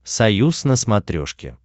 союз на смотрешке